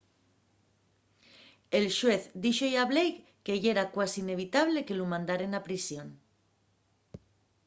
el xuez díxo-y a blake que yera cuasi inevitable” que lu mandaren a prisión